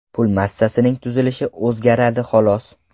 Pul massasining tuzilishi o‘zgaradi xolos.